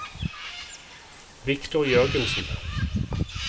Victor Jørgensen